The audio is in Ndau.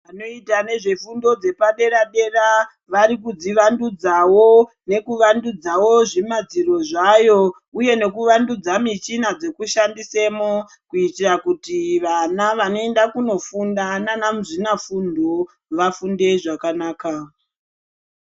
Vanoita nezvefundo dzepadera-dera ,vari kidzivandudzawo, nekuvandudzawo zvimadziro zvayo, uye nekuvandudza michina dzekushandisamo, kuitira kuti vana vanoenda kunofunda naanamuzvinafundo vafunde zvakanaka.